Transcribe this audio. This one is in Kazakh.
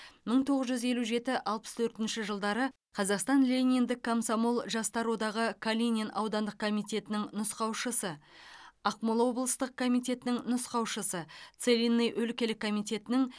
мың тоғыз жүз елу жеті алпыс төртінші жылдары қазақстан лениндік комсомол жастар одағы калинин аудандық комитетінің нұсқаушысы ақмола облыстық комитетінің нұсқаушысы целинный өлкелік комитетінің